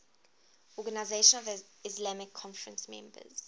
organisation of the islamic conference members